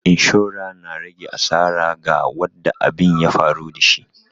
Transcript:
Inshora na rage asara ga wadda abin ya faru da shi.